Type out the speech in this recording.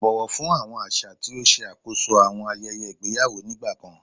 Bọwọ fun awọn aṣa ti o ṣe akoso awọn ayẹyẹ igbeyawo nigbakan